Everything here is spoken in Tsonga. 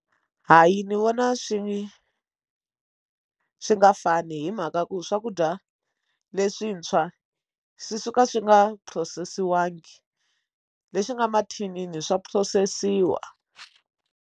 Hayi ni vona swi swi nga fani hi mhaka ku swakudya leswintshwa swi suka swi nga phurosesiwangi leswi nga mathinini swa phurosesiwa.